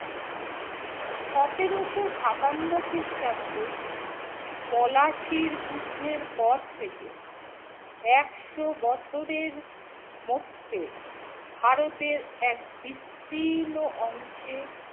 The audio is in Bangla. সতেরোশো সাতান্ন খ্রিস্টাব্দে পলাশীর যুদ্ধের পর থেকে একশো বছরের মধ্যে ভারতের এক বিস্তীর্ণ অংশে